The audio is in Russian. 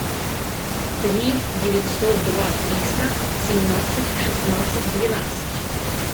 три девятьсот два триста семнадцать шестнадцать двенадцать